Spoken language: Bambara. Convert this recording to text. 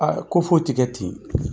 A ko foyi tɛ kɛ ten